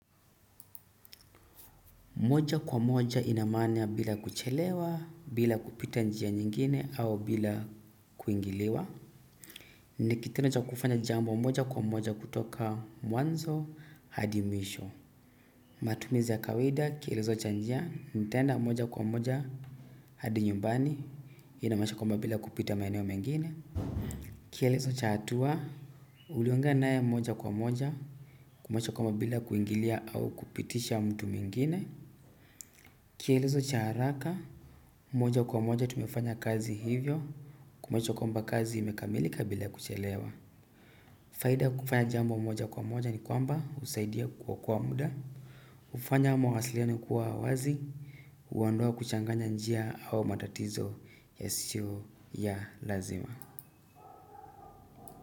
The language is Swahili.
Moja kwa moja inamana ya bila kuchelewa, bila kupita njia nyingine, au bila kuingiliwa. Nikitendo cha kufanya jambo moja kwa moja kutoka mwanzo, hadi mwisho. Matumizi ya kawida, kielizo cha njia, ntenda moja kwa moja, hadi nyumbani, inamashakomba bila kupita maeneo mengine. Kielezo cha hatua uliongea naye moja kwa moja kumanisha ya kwamba bila kuingilia au kupitisha mtu mwingine. Kielizo cha haraka. Moja kwa moja tumefanya kazi hivyo kumanisha ya kwamba kazi imekamilika bila kuchelewa. Faida kufanya jambo moja kwa moja ni kwamba usaidia kuokoa muda hufanya mawasiliano kuwa wazi huondoa kuchanganya njia au matatizo yasiyo ya lazima.